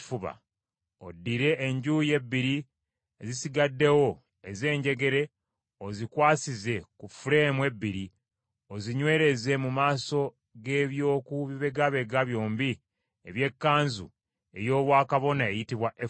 Oddire enjuuyi ebbiri ezisigaddewo ez’enjegere ozikwasize ku fuleemu ebbiri, ozinywereze mu maaso g’eby’oku bibegabega byombi eby’ekkanzu ey’obwakabona eyitibwa efodi.